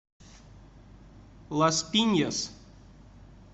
лас пиньяс